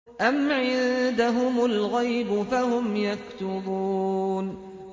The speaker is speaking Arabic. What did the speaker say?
أَمْ عِندَهُمُ الْغَيْبُ فَهُمْ يَكْتُبُونَ